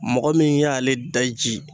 Mɔgɔ min y'ale daji